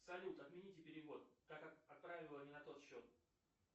салют отмените перевод так как отправила не на тот счет